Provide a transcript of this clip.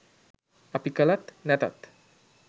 අපි කලත් නැතත්